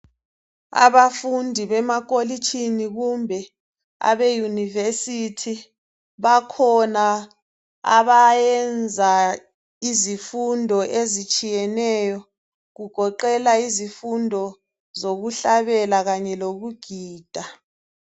Abafundi bemakolitshini kumbe abeuniversithi bakhona abayenza izifundo ezitshiyeneyo kugoqela izifundo zokuhlabela kanye lokugida